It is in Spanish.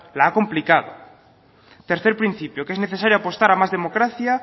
la ha complicado tercer principio que es necesario apostar a más democracia